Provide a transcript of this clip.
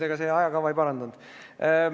Aga see mu ajakava ei leevendanud.